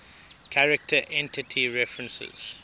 character entity references